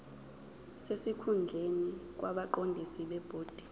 sesikhundleni kwabaqondisi bebhodi